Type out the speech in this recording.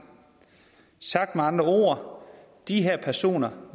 sagt med andre ord de personer